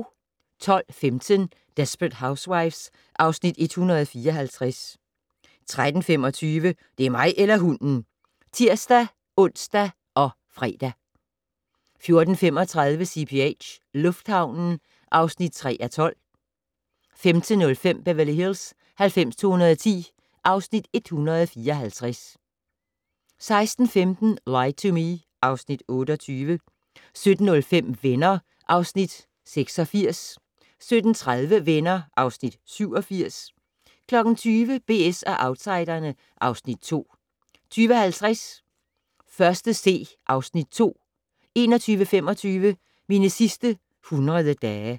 12:15: Desperate Housewives (Afs. 154) 13:35: Det er mig eller hunden! (tir-ons og fre) 14:35: CPH - lufthavnen (3:12) 15:05: Beverly Hills 90210 (Afs. 154) 16:15: Lie to Me (Afs. 28) 17:05: Venner (Afs. 86) 17:30: Venner (Afs. 87) 20:00: BS & Outsiderne (Afs. 2) 20:50: 1.C (Afs. 2) 21:25: Mine sidste 100 dage